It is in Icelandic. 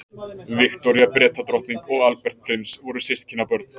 Viktoría Bretadrottning og Albert prins voru systkinabörn.